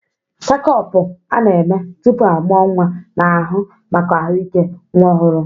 Chékopu a-na eme tupu amuo nwa na-ahu maka ahụike nwa ọhụrụ.